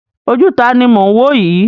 Ojú taàní mo ń woyi?